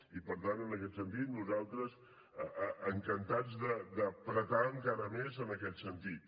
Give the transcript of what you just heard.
i per tant en aquest sentit nosaltres encantats d’ apretar encara més en aquest sentit